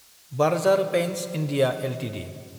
burger paints India Ltd